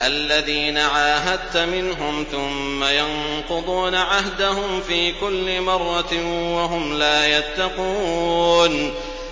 الَّذِينَ عَاهَدتَّ مِنْهُمْ ثُمَّ يَنقُضُونَ عَهْدَهُمْ فِي كُلِّ مَرَّةٍ وَهُمْ لَا يَتَّقُونَ